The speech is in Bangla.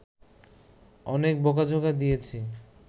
অনেক বোকা-ঝোকা দিয়েছি